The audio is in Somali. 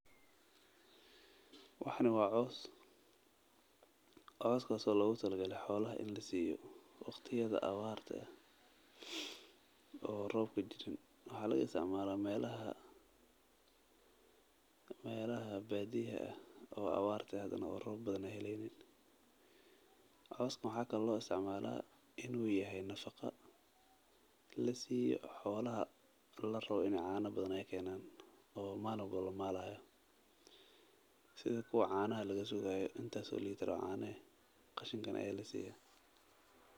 Waxani waa coos oo loogu tala galay in xolaha lasiiyo waqtiyaha abaarta oo roob jirini waxaa loo isticmaalo inuu yahay nafaqo lasiiyo xolaha lamaalo qashinkan ayaa lasiiya.